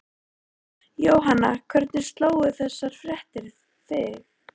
Jóhanna, hvernig slógu þessar fréttir þig?